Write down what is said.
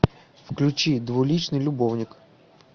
включи двуличный любовник